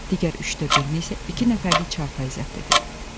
Digər üçdə birini isə iki nəfərlik çarpayı zəbt edib.